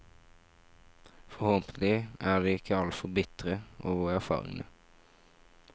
Forhåpentlig er de ikke altfor bitre over erfaringene.